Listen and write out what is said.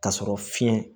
K'a sɔrɔ fiɲɛ